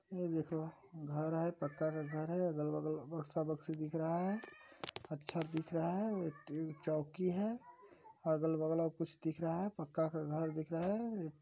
ई देखो घर है पक्का का घर है अगल-बगल बक्सा-बक्सी दिख रहा है अच्छा दिख रहा है और चौकी है अगल-बगल और कुछ दिख रहा पक्का का घर दिख रहा हैं।